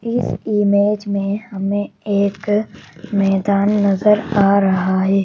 इस इमेज में हमें एक मैदान नजर आ रहा है।